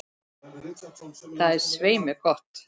Það er svei mér gott.